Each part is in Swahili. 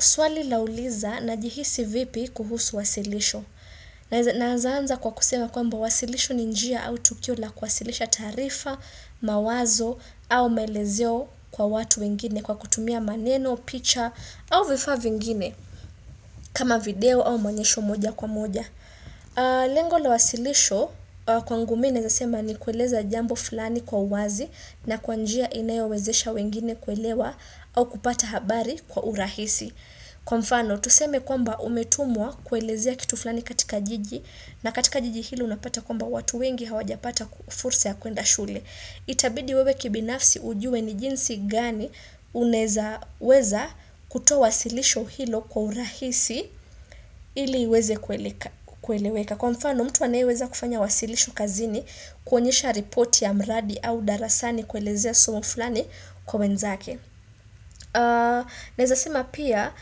Swali lauliza na jihisi vipi kuhusu wasilisho. Naeza aanza kwa kusema kwamba wasilisho ni njia au tukio la kwasilisha tarifa, mawazo au maelezeo kwa watu wengine kwa kutumia maneno, picha au vifaa vingine. Kama video au maonyesho moja kwa moja. Lengo la wasilisho kwangu mimi naeza sema ni kueleza jambo fulani kwa uwazi, na kwa njia inayowezesha wengine kuelewa au kupata habari kwa urahisi. Kwa mfano, tuseme kwamba umetumwa kuelezea kitu fulani katika jiji na katika jiji ilo unapata kwamba watu wengi hawajapata fursa ya kuenda shule. Itabidi wewe kibinafsi ujue ni jinsi gani unaeza weza kutoa wasilisho hilo kwa urahisi ili iweze kueleweka. Kwa mfano, mtu anaeweza kufanya wasilisho kazini, kwenyesha ripoti ya mradi au darasani kuelezea somo fulani kwa wenzake. Neza sema pia,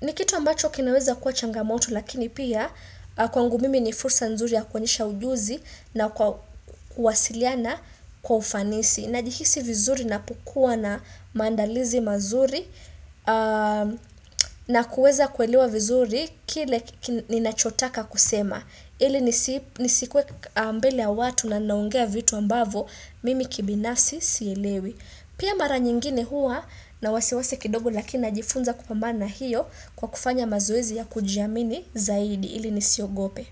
ni kitu ambacho kinaweza kuwa changamoto lakini pia kwangu mimi ni fursa nzuri ya kuonyesha ujuzi na kuwasiliana kwa ufanisi. Najihisi vizuri napukua na mandalizi mazuri na kuweza kuelewa vizuri kile ninachotaka kusema. Ili nisikue mbele ya watu na ninaongea vitu ambapo mimi kibinasi sielewi. Pia mara nyingine huwa na wasiwasi kidogo lakina jifunza kupambana na hiyo kwa kufanya mazoezi ya kujiamini zaidi ili nisiogope.